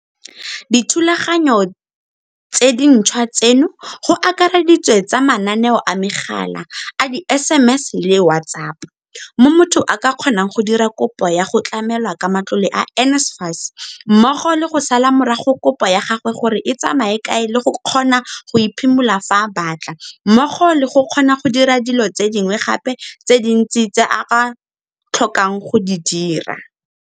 Dithulaganyo tse dintšhwa tseno go akareditswe tsa mananeo a megala, a di-SMS le WhatsApp, mo motho a ka kgonang go dira kopo ya go tlamelwa ka matlole a NSFAS, mmogo le go sala morago kopo ya gagwe gore e tsamaya kae le go kgona go e phimola fa a batla mmogo le go kgona go dira dilo tse dingwe gape tse dintsi tse a ka tlhokang go di dira.